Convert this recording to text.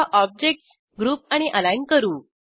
आता objects group आणि align करू